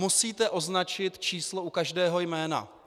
Musíte označit číslo u každého jména.